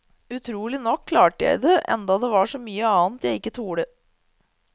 Utrolig nok klarte jeg det, enda det var så mye annet jeg ikke torde.